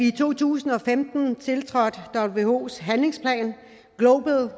i to tusind og femten whos handlingsplan global